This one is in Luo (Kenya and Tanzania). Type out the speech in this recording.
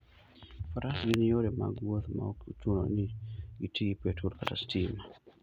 Faras gin yore mag wuoth maok ochuno ni giti gi petrol kata stima.